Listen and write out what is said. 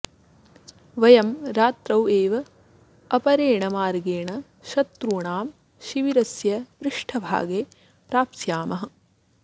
वयं रात्रौ एव अपरेण मार्गेण शत्रूणां शिबिरस्य पृष्ठभागे प्राप्स्यामः